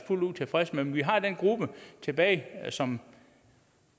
fuldt ud tilfredse med men vi har den gruppe tilbage som